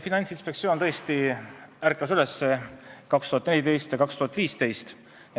Finantsinspektsioon tõesti ärkas üles aastal 2014 ja 2015.